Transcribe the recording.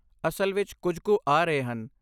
ਅਸਲ ਵਿੱਚ ਕੁਝ ਕੁ ਆ ਰਹੇ ਹਨ।